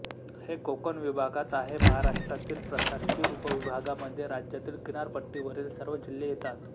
हे कोकण विभागात आहे महाराष्ट्रातील प्रशासकीय उपविभागामध्ये राज्यातील किनारपट्टीवरील सर्व जिल्हे येतात